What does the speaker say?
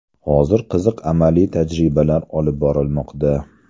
Hozir qiziq amaliy tajribalar olib borilmoqda.